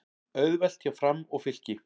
Auðvelt hjá Fram og Fylki